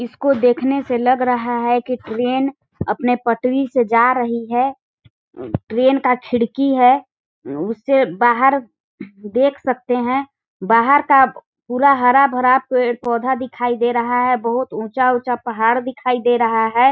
इसको देख ने से लग रहा है की ट्रेन अपने पटरी से जा रही है ट्रेन का खिड़की है उससे बहार देख सकते है बाहर का पूरा हरा भरा पेड़ पौधा दिखाई दे रहा है बहुत ऊंचा- ऊंचा पहाड़ दिखाई दे रहा हैं।